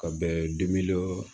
Ka bɛn dimi dɔ